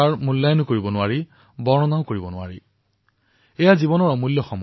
যুৱচামৰ বিষয়ে মন্তব্য কৰি তেওঁ কৈছিল যুৱচামৰ মূল্য নিৰ্ধাৰণো কৰিব নোৱাৰি আৰু ইয়াৰ বৰ্ণনাও কৰিব নোৱাৰি